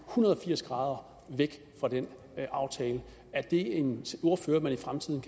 hundrede og firs grader og væk fra den aftale er det en ordfører man i fremtiden